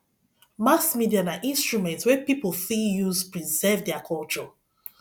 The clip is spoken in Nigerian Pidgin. mass media na instrument wey pipo fit use preserve their culture